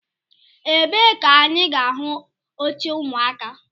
Ebee ka anyị ga ahụ oche ụmụaka?